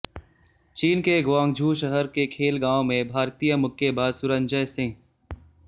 चीन के ग्वांगझू शहर के खेल गांव में भारतीय मुक्केबाज सुरंजय सिंह